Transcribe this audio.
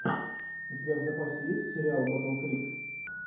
у тебя в запасе есть сериал батл крик